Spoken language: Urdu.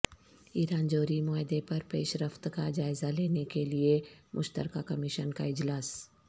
ایران جوہری معاہدے پر پیش رفت کا جائزہ لینے کے لیے مشترکہ کمیشن کا اجلاس